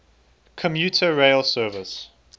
commuter rail service